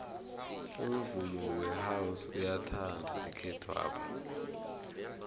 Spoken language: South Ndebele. umvumo wehouse uyathandwa ekhethwapha